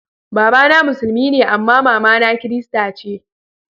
Baba na musulmi ne amma mama na kirista ce.